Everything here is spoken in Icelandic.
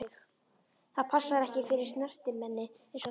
Það passar ekki fyrir snyrtimenni einsog þig.